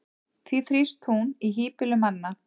því þrífst hún í hýbýlum manna